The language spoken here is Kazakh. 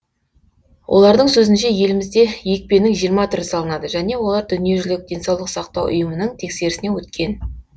олардың сөзінше елімізде екпенің жиырма түрі салынады және олар дүниежүзілік денсаулық сақтау ұйымының тексерісінен өткен